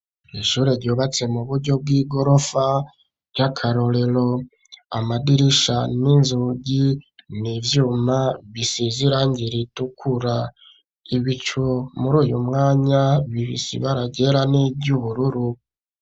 Ishure ryubatse mu buryo bw'igorofa ry'akarorero amadirisha n'inzugi n'ivyuma bisize irangire ritukura ibicu muri uyu mwanya bifise ibara ryera n'iryubururu